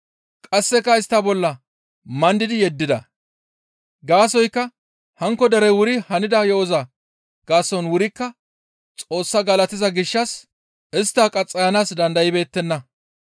Qasseka istta bolla mandidi yeddida; gaasoykka hankko derey wuri hanida yo7oza gaason wurikka Xoos galatiza gishshas istta qaxxayanaas dandaybeettenna.